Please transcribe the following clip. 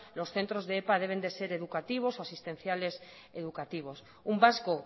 los centros de epa deben de ser educativos o asistenciales educativos un vasco